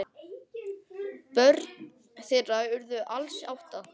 Börn þeirra urðu alls átta.